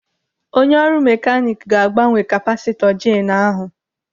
Onye ọrụ mekanik ga-agbanwe kapasịtọ jeenu ahụ.